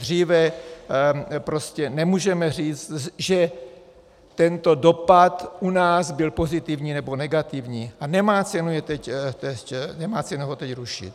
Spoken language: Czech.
Dříve prostě nemůžeme říct, že tento dopad u nás byl pozitivní nebo negativní, a nemá cenu ho teď rušit.